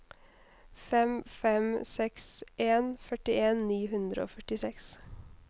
fem fem seks en førtien ni hundre og førtiseks